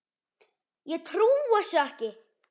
Ég trúi þessu ekki!